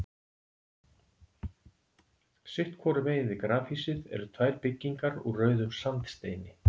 Sitt hvoru megin við grafhýsið eru tvær byggingar úr rauðum sandsteini.